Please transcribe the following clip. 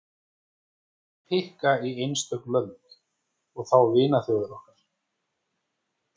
Hví pikka í einstök lönd, og þá vinaþjóðir okkar.